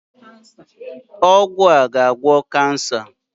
Ọgwụ a ga-ala kansa.